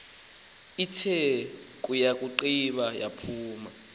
ithe yakugqiba yaphuma